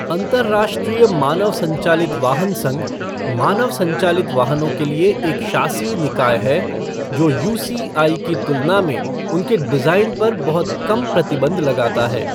अंतर्राष्ट्रीय मानव संचालित वाहन संघ, मानव संचालित वाहनों के लिए एक शासी निकाय है जो यूसीआई की तुलना में उनके डिज़ाइन पर बहुत कम प्रतिबंध लगाता है।